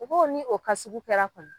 U b'o ni o ka sugu kɛra kɔni.